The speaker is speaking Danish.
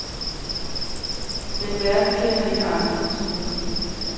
Men verden kender ikke andre metoder.